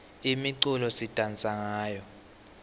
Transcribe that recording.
imiculo sidansa ngayo